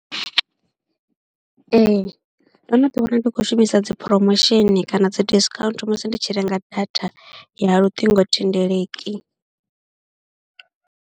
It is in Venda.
Ee ndo no ḓiwana ndi khou shumisa dzi phromosheni kana dzi disikhaunthu musi ndi tshi renga data ya luṱingothendeleki.